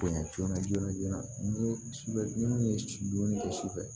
Bonya joona joona joona ni minnu ye dumuni kɛ sufɛ